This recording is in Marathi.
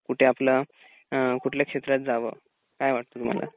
कुठे आपलं अ कुठल्या क्षेत्रात जावं, काय वाटत तुम्हाला?